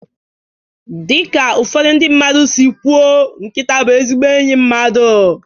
Dị ka ụfọdụ ndị mmadụ si kwuo nkịta bụ ezigbo enyi mmadụ